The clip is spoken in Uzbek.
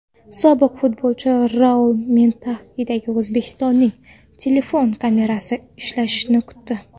Sobiq futbolchi Raul Manxettendagi o‘zbekistonlikning telefoni kamerasi ishlashini kutdi.